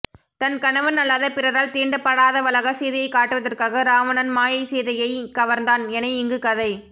தன் கணவன் அல்லாத பிறரால் தீண்டப்படாதவளாக சீதையைக் காட்டுவதற்காக இராவணன் மாயைசீதையையே கவர்ந்தான் என இங்கு கதை